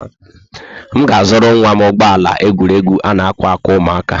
M ga-azụrụ nwa m ụgbọ ala egwuregwu a-na ákwà aka ụmụaka.